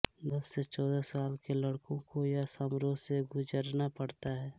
दस से चौदह साल के लडको को यह समारोह से गुज़रना पड़ता है